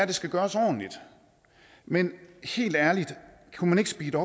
det skal gøres ordentligt men helt ærligt kunne man ikke speede